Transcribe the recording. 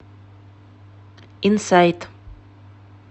инсайт